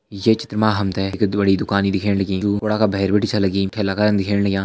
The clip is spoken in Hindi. ये चित्र मा हम तें एक बड़ी दुकाण दिखेण लगीं कुड़ा का भैर बिटि छा लगीं ठेला करन दिखेण लग्यां।